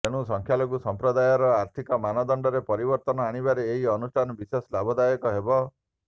ତେଣୁ ସଂଖ୍ୟାଲଘୁ ସମ୍ପ୍ରଦାୟର ଆର୍ଥିକ ମାନଦଣ୍ଡରେ ପରିବର୍ତ୍ତନ ଆଣିବାରେ ଏହି ଅନୁଷ୍ଠାନ ବିଶେଷ ଲାଭଦାୟକ ହେବ